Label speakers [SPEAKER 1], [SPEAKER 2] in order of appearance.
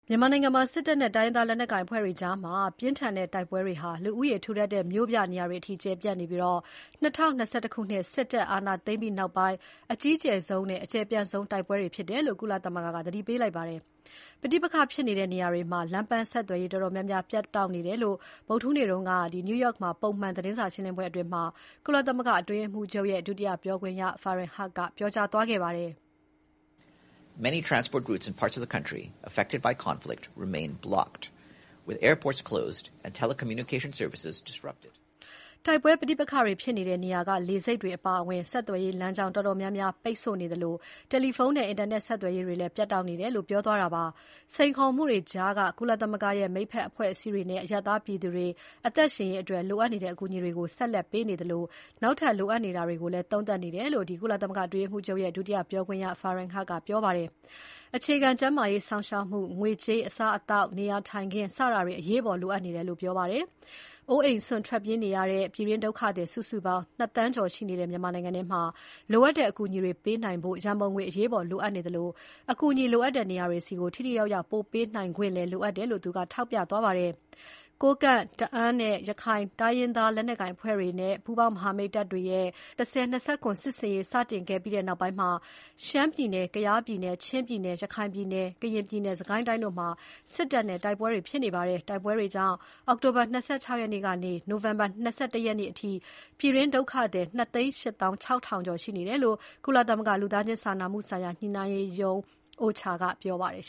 [SPEAKER 1] မြန်မာနိုင်ငံမှာ စစ်တပ်နဲ့ တိုင်းရင်းသားလက်နက်ကိုင်အဖွဲ့တွေကြား ပြင်းထန်နေတဲ့ တိုက်ပွဲတွေဟာ လူဦးရေထူထပ်တဲ့ မြို့ပြနေရာတွေအထိ ကျယ်ပြန့်နေပြီး ၂၀၂၁ ခုနှစ် စစ်တပ်အာဏာသိမ်းပြီးနောက်ပိုင်း အကြီးကျယ်ဆုံးနဲ့ အကျယ်ပြန့်ဆုံး တိုက်ပွဲတွေဖြစ်တယ်လို့ ကုလသမဂ္ဂက ပြောကြားလိုက်ပါတယ်။ ပဋိပက္ခဖြစ်နေတဲ့ နေရာတွေမှာ လမ်းပန်းဆက်သွယ်ရေးတော်တော်များများ ပြတ်တောက်နေတယ်လို့ ဗုဒ္ဓဟူးနေ့ကလုပ်တဲ့ ပုံမှန်သတင်းစာရှင်းလင်းပွဲမှာ အတွင်းရေးမှူးချုပ်ရဲ့ ဒုတိယပြောခွင့်ရ Farhan Haq က ပြောကြားပါတယ်။
[SPEAKER 2] တ
[SPEAKER 1] ိုက်ပွဲပဋိပက္ခတွေဖြစ်နေတဲ့ နေရာတွေက လေဆိပ်တွေအပါအဝင် ဆက်သွယ်ရေးလမ်းကြောင်းတော်တော်များများ ပိတ်ဆို့နေသလို တယ်လီဖုန်းနဲ့ အင်တာနက်ဆက်သွယ်ရေးတွေလည်း ပြတ်တောက်နေတယ်လို့ ပြောသွားတာပါ။ စိန်ခေါ်မှုတွေကြားက ကုလသမဂ္ဂရဲ့မိတ်ဖက်အဖွဲ့အစည်းတွေအနေနဲ့ အရပ်သားပြည်သူတွေအသက်ရှင်ရေးအတွက် လိုအပ်နေတဲ့အကူအညီတွေကို ဆက်လက်ပေးနေသလို နောက်ထပ်လိုအပ်နေတာတွေကိုလည်း သုံးသပ်နေတယ်လို့ ကုလသမဂ္ဂအတွင်းရေးမှူးချုပ်ရဲ့ ဒုတိယပြောခွင့်ရ Farhan Haq ကပြောပါတယ်။ အခြေခံကျန်းမာရေးစောင့်ရှောက်မှု၊ ငွေကြေး၊ အစားအသောက်၊ နေရာထိုင်ခင်း စတာတွေ အရေးပေါ်လိုအပ်နေတယ်လို့ပြောပါတယ်။ အိုးအိမ်စွန့်ထွက်ပြေးနေရတဲ့ ပြည်တွင်းဒုက္ခသည် စုစုပေါင်း ၂ သန်းကျော်ရှိတဲ့ မြန်မာနိုင်ငံထဲမှာ လိုအပ်တဲ့အကူအညီတွေပေးနိုင်ဖို့ ရန်ပုံငွေအရေးပေါ်လိုအပ်နေသလို အကူအညီလိုအပ်နေတဲ့ နေရာတွေဆီ ထိထိရောက်ရောက် ပို့ပေးနိုင်ခွင့်လည်း လိုအပ်တယ်ဆိုတာကို သူကထောက်ပြသွားပါတယ်။ ကိုးကန့်၊ တအာင်းနဲ့ ရခိုင်တိုင်းရင်းသား လက်နက်ကိုင်အဖွဲ့တွေနဲ့ ပူးပေါင်းမဟာမိတ်တပ်ဖွဲ့တွေရဲ့ ၁၀၂၇ စစ်ဆင်ရေးစတင်ခဲ့ပြီးနောက်ပိုင်း ရှမ်းပြည်နယ်၊ ကယားပြည်နယ်၊ ချင်းပြည်နယ်၊ ရခိုင်ပြည်နယ်၊ ကရင်ပြည်နယ်၊ စစ်ကိုင်းတိုင်းတို့မှာ စစ်တပ်နဲ့ တိုက်ပွဲတွေ ဖြစ်နေပါတယ်။ တိုက်ပွဲတွေကြောင့် အောက်တိုဘာ ၂၆ ရက်ကနေ နိုဝင်ဘာ၂၁ ရက်နေ့အထိ ပြည်တွင်း ဒုက္ခသည် ၂ သိန်း ၈ သောင်း ၆ ထောင်ကျော်ရှိနေတယ်လို့ ကုလသမဂ္ဂ လူသားချင်းစာနာမှုဆိုင်ရာ ညှိနှိုင်းရေးရုံး OCHA ကပြောပါတယ်